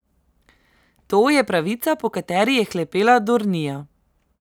To je pravica, po kateri je hlepela Dornija.